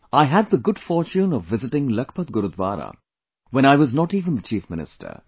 I had the good fortune of visiting Lakhpat Gurudwara when I was not even the Chief Minister